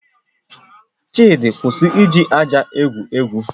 Chidi, kwụsị iji aja egwu egwu